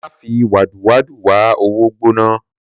Mà fí wàdú wàdú wà òwó gbòná